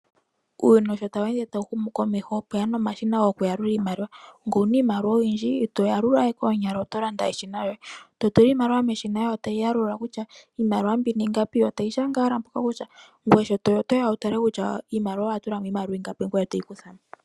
Uuyuni sho tawu ende tawu shu na komeho opweya nomashina gokuyalula iimaliwa ngele owu na iimaliwa oyindji ito yalula we koonyala. Oto landa eshina lyoye e to tula iimaliwa meshina yo tayi yalula kutya iimaliwa mbino ingapi yo tayi shanga mpoka kutya nangoye sho toya otoya wu tale kutya owa tulamo iimaliwa ingapi ngoye toyi kuthamo.